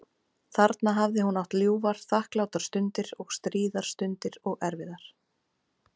Þarna hafði hún átt ljúfar, þakklátar stundir og stríðar stundir og erfiðar.